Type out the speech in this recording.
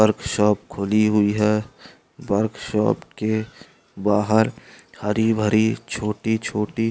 work shop खुली हुई है वर्क शॉप के बहार हरी-भरी छोटी-छोटी --